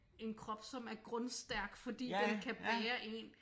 En krop som er grundstærk fordi den kan bære en